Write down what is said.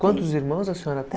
Quantos irmãos a senhora